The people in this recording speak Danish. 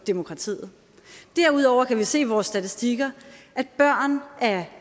demokratiet derudover kan vi se i vores statistikker at børn af